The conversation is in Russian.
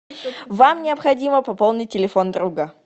вам необходимо пополнить телефон друга